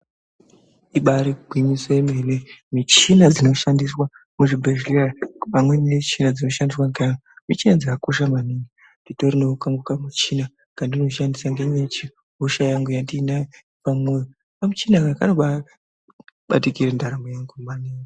Ibari gwinyiso yemene, michina dzinoshandiswa muzvibhedhleya pamweni michina dzinoshandiswa ngeanhu. Michina idzi dzakakosha maningi. Nditorinewo kangu kamuchina kandinoshandisa ndemendine hosha yangu yepamwoyo. Kamuchina aka kanobabatikire ndaramo yangu maningi.